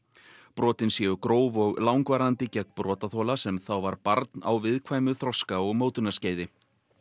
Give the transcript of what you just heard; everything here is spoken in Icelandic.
brotin séu gróf og langvarandi gegn brotaþola sem þá var barn á viðkvæmu þroska og mótunarskeiði